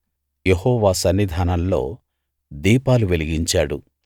యెహోవా సన్నిధానంలో దీపాలు వెలిగించాడు